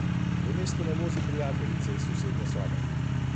V mesto me vozi prijateljica iz sosednje sobe.